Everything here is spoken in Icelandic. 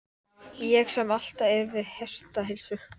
Ég sem alltaf er við hestaheilsu!